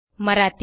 Marathi